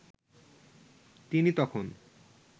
তিনি তখন